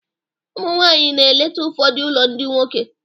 Ụmụ nwanyị na-eleta ụfọdụ ụlọ ndị nwoke.